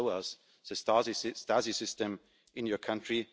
Please show us the Stasi system in your country.'